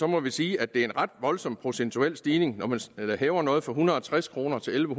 må vi sige at det er en ret voldsom procentuel stigning når man hæver noget fra en hundrede og tres kroner til elleve